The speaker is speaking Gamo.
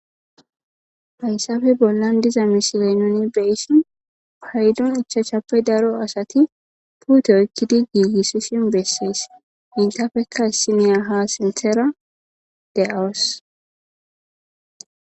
hayssafe bollan diza misilenoni beyssin paydon ichachappe daro asati puute ykkidi giigissi sin bessees intafekka issi miya ha sinthera de7awos